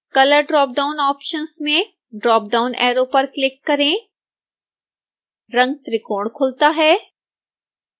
color dropdown options में dropdown arrow पर click करें रंगत्रिकोण खुलता है